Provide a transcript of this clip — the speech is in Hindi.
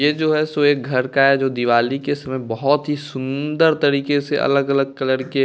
ये जो है सो एक घर का है जो दिवाली के समय बहुत ही सुंदर तरीके से अलग-अलग कलर के--